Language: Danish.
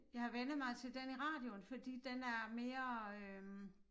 Jeg har vænnet mig til den i radioen fordi den er mere øh